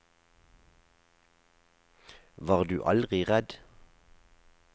Var du aldri redd?